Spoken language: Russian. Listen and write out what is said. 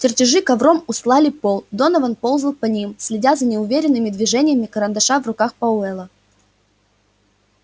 чертежи ковром устлали пол донован ползал по ним следя за неуверенными движениями карандаша в руках пауэлла